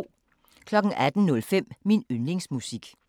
18:05: Min yndlingsmusik